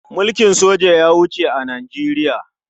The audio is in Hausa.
Mulkin soja ya wuce a Nijeriya.